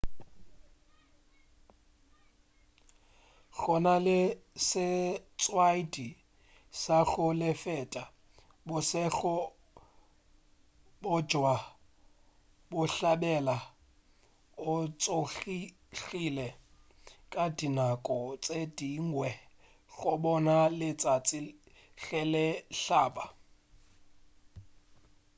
go na le setlwaedi sa go feta bošego bja bohlabela o tsogile ka dinako tše dingwe go bona letšatši ge le hlaba